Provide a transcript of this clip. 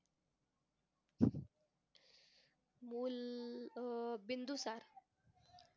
मूल अं बिंदुसार.